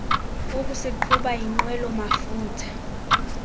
ukusiqhuba yinqwelo mafutha